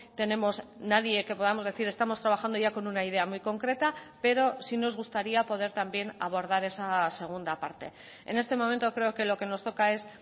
tenemos nadie que podamos decir estamos trabajando ya con una idea muy concreta pero sí nos gustaría poder también abordar esa segunda parte en este momento creo que lo que nos toca es